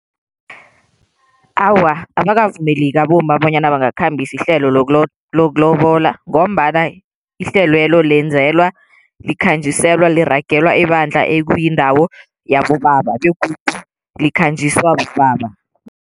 Awa, abakavumeleki abomma bonyana bangakhambisa ihlelo lokulobola ngombana ihlelo lelo lenzelwa, likhanjiselwa, liragelwa ebandla ekuyindawo yabobaba begodu likhanjiswa bobaba.